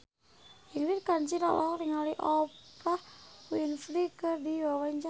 Ingrid Kansil olohok ningali Oprah Winfrey keur diwawancara